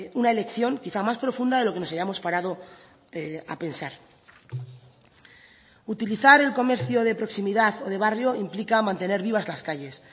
una elección quizá más profunda de lo que nos hayamos parado a pensar utilizar el comercio de proximidad o de barrio implica mantener vivas las calles